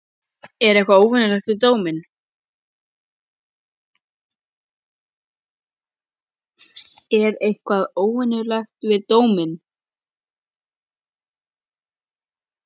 Er eitthvað óvenjulegt við dóminn?